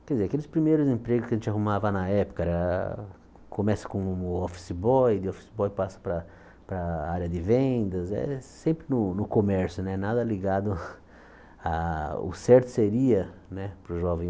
Quer dizer, aqueles primeiros empregos que a gente arrumava na época, era começa com o office boy, de office boy passa para para a área de vendas, sempre no comércio, nada ligado o certo seria né para o jovem.